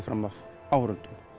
fram af áhorfendum